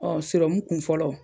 seromu kun fɔlɔ